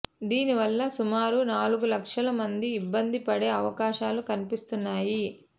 దీనివల్ల సుమారు నాలుగు లక్షల మంది ఇబ్బంది పడే అవకాశాలు కనిపిస్తున్నాయి